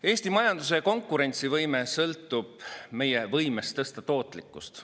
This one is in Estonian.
Eesti majanduse konkurentsivõime sõltub meie võimest tõsta tootlikkust.